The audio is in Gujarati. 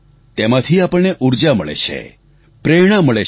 તેમાંથી આપણને ઉર્જા મળે છે પ્રેરણા મળે છે